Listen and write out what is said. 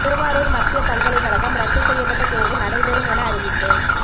திருவாரூர் மத்திய பல்கலைக்கழகம் ரத்து செய்யப்பட்ட தேர்வு நடைபெறும் என அறிவிப்பு